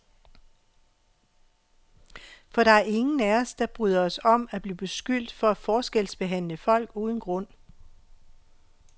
For der er ingen af os, der bryder os om at blive beskyldt for at forskelsbehandle folk uden grund.